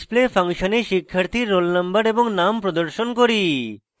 display ফাংশনে শিক্ষার্থীর roll _ no এবং name প্রদর্শন করি